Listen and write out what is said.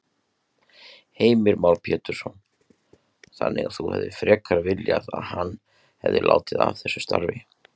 Heimir Már Pétursson: Þannig að þú hefðir frekar viljað hann, hefði látið af þessu starfi?